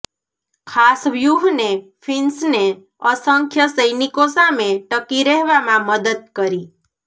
ખાસ વ્યૂહએ ફિન્સને અસંખ્ય સૈનિકો સામે ટકી રહેવામાં મદદ કરી